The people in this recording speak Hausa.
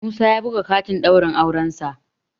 Musa ya buga katin ɗaurin aurensa